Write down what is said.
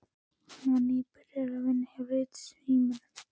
Hann var nýbyrjaður að vinna hjá Ritsímanum.